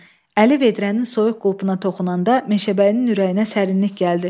Əli vedrənin soyuq qulpuna toxunanda, meşəbəyinin ürəyinə sərinlik gəldi.